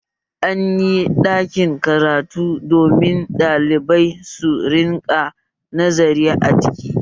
Anyi ɗakin karatu domin ɗalibai su rinƙa nazari a ciki